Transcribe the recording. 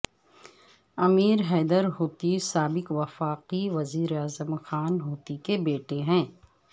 امیر حیدر ہوتی سابق وفاقی وزیر اعظم خان ہوتی کے بیٹے ہیں